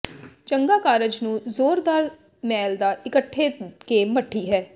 ਚੰਗਾ ਕਾਰਜ ਨੂੰ ਜ਼ੋਰਦਾਰ ਮੈਲ ਦਾ ਇਕੱਠੇ ਕੇ ਮੱਠੀ ਹੈ